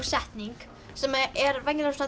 setning sem er venjulega